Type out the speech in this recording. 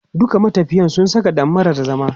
"Dukan matafiya su saka dammaran zama".